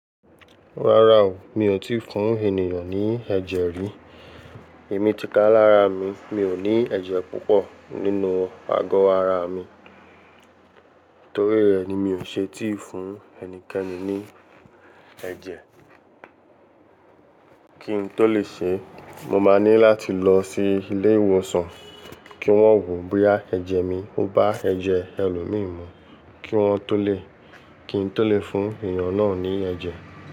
Rárá o, mi ò tíì fún ènìyàn ní ẹ̀jẹ̀ rí. Èmi ti ká lára mi, mi ò ní ẹ̀jẹ̀ púpọ̀ nínú ago ara mi. Torí rẹ̀ ni mi ò ṣe tíì fún ẹnikẹ́ni ní ẹ̀jẹ̀. Kí n tó lè ṣe, mo máa ní láti lọ sí ilé ìwòsàn kí wọ́n wò boya ẹ̀jẹ̀ mi. O bá ẹ̀jẹ̀ ẹlòmíì mú kí wọn tó lè, kí n tó lè fún èèyàn náà ní ẹ̀jẹ̀.